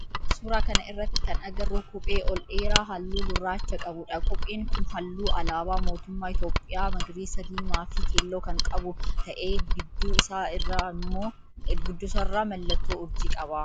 Suuraa kana irratti kan agarru kophee ol dheeraa halluu gurraacha qabudha. Kopheen kun halluu alaabaa mootummaa Itiyoophiyaa magariisa, diimaa fi keelloo kan qabu ta'ee gidduu isaa irraa mallattoo urjii qaba.